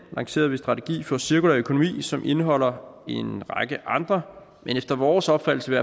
lancerede en strategi for cirkulær økonomi som indeholder en række andre og efter vores opfattelse